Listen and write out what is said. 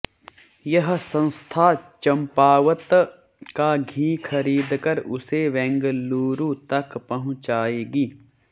यह संस्था चम्पावत का घी खरीदकर उसे बैंगलूरू तक पहुंचाएगी